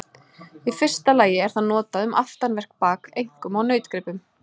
Í fyrsta lagi er það notað um aftanvert bak, einkum á nautgripum.